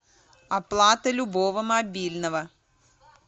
оплата любого мобильного